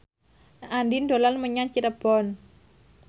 Andien dolan menyang Cirebon